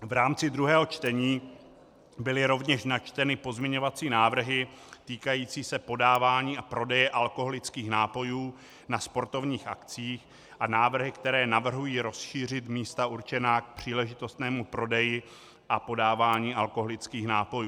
V rámci druhého čtení byly rovněž načteny pozměňovací návrhy týkající se podávání a prodeje alkoholických nápojů na sportovních akcích a návrhy, které navrhují rozšířit místa určená k příležitostnému prodeji a podávání alkoholických nápojů.